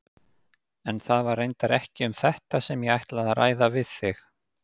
En það var reyndar ekki um þetta sem ég ætlaði að ræða við þig.